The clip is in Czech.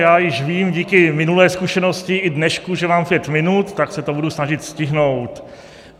Já již vím díky minulé zkušenosti i dnešku, že mám pět minut, tak se to budu snažit stihnout.